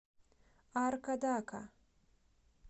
аркадака